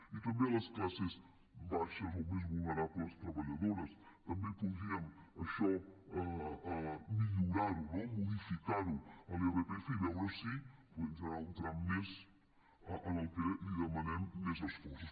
i també a les classes baixes o més vulnerables treballadores també podríem això millorar ho no modificar l’irpf i veure si podem generar un tram més en el que li demanem més esforços